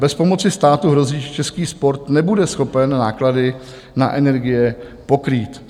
Bez pomoci státu hrozí, že český sport nebude schopen náklady na energie pokrýt.